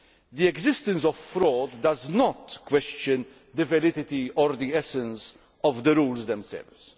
The existence of fraud does not question the validity or the essence of the rules themselves.